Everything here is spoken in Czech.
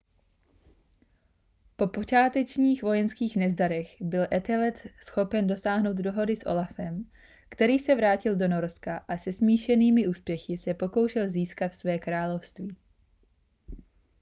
po počátečních vojenských nezdarech byl ethelred schopen dosáhnout dohody s olafem který se vrátil do norska a se smíšenými úspěchy se pokoušel získat své království